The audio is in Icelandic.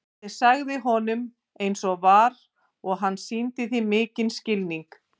Ég sagði honum eins og var og hann sýndi því mikinn skilning.